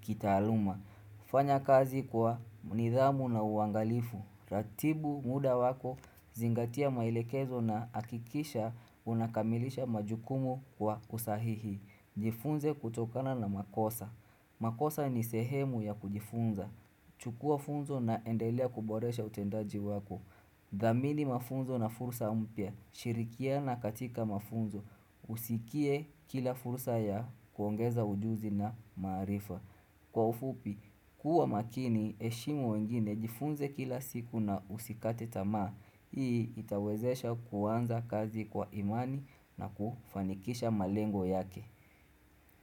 kitaaluma fanya kazi kwa nidhamu na uangalifu Ratibu muda wako zingatia maelekezo na hakikisha unakamilisha majukumu kwa usahihi Jifunze kutokana na makosa makosa ni sehemu ya kujifunza chukua funzo na endelea kuboresha utendaji wako dhamini mafunzo na fursa mpya shirikiana katika mafunzo usikie kila fursa ya kuongeza ujuzi na maarifa Kwa ufupi kuwa makini heshimu wengine jifunze kila siku na usikate tamaa Hii itawezesha kuanza kazi kwa imani na kufanikisha malengo yake.